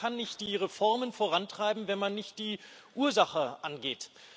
Denn man kann nicht die Reformen vorantreiben, wenn man nicht die Ursache angeht.